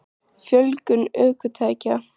Fjölgun ökutækja?